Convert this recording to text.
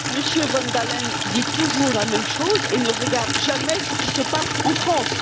M. van Dalen dit toujours la même chose et ne regarde jamais ce qui se passe en France!